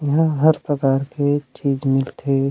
यहाँ हर प्रकार के चीज़ मिलथे ।